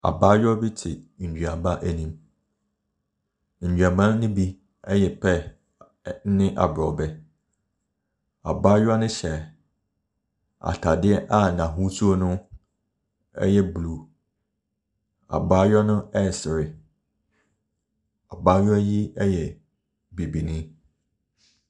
Abaayewa bi te nnuaba anim, nnuaba ne bi ɛyɛ pear ɛne aborɔbɛ. Abaayewa no hyɛɛ ataadeɛ a n’ahosuo no ɛyɛ blue. Abaayewa no ɛresere. Abaayewa yi ɛyɛ bibini.